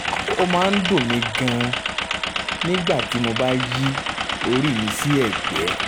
ó máa ń dùn mí gan-an nígbà tí mo bá yí orí mi sí ẹ̀gbẹ́